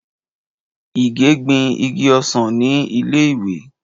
Ìgè gbin igi ọsàn ni ilé ìwé.